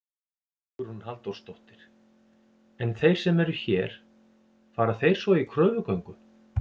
Hugrún Halldórsdóttir: En þeir sem eru hér, fara þeir svo í kröfugöngu?